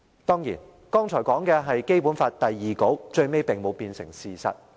當然，剛才所說的是《基本法》第二稿，最終並沒有變成事實。